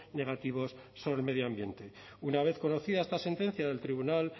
negativos sobre el medio ambiente una vez conocida esta sentencia del tribunal